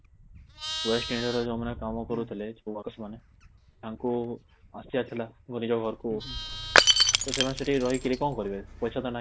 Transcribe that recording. West India ରେ ଯୋଉ ମାନେ କାମ କରୁଥିଲେ ଯୋଉ workers ମାନେ ତାଙ୍କୁ ଆସିବାର ଥିଲା ବୋଲି ନିଜ ଘରକୁ , ତ ସେମାନେ ସେଠି ରହିକରି କଣ କରିବେ ପଇସା ତ ନାହିଁ